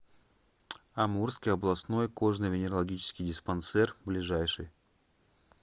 амурский областной кожно венерологический диспансер ближайший